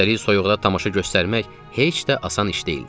Üstəlik soyuqda tamaşa göstərmək heç də asan iş deyildi.